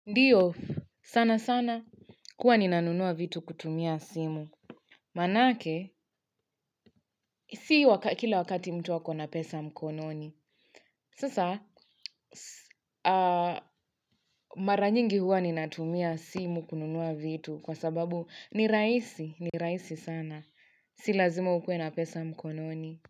Ndiyo, sana sana, kuwa nina nunua vitu kutumia simu. Manake, si kila wakati mtu ako na pesa mkononi. Sasa, mara nyingi huwa nina tumia simu kununua vitu kwa sababu ni rahisi, ni rahisi sana. Si lazima ukue na pesa mkononi.